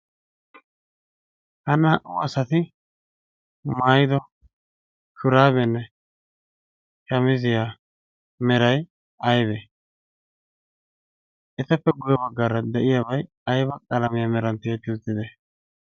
ha naa77u asati maido shuraabenne shamiziyaa merai aibe? eteppe guye baggaara de7iyaabai aiba qalamiyaa meran tiyetti uuttide?